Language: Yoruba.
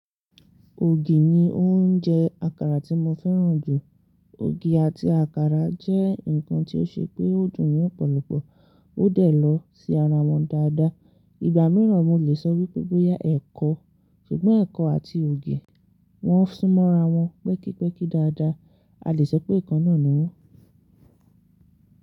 Ògì ni oúnjẹ àkàrà tí mo fẹ́ràn jù. Ògì àti àkàrà jẹ́ nǹkan tí ó ṣe pé ó dùn ni opọ̀lọ̀pọ̀ ó dẹ̀ lọ sí ara wọn dáadáa. Ìgbà mìíràn mo lè sọ wípé bóyá ẹ̀kọ, ṣùgbọ́n ẹ̀kọ àti ògì wọn sún mọ́ra wọn pẹ́kípẹ́kí dáadáa. A lè sọ pé ikan náà ni wọ́n.